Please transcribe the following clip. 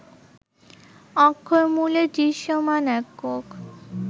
অক্ষরমূলের দৃশ্যমান একক